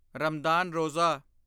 Ramadan Roza